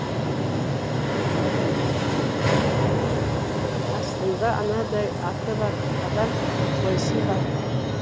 астында анадай аты бар адам қойсын ба